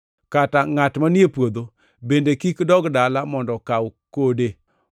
Kata ngʼat manie puodho bende kik dog dala mondo okaw kode.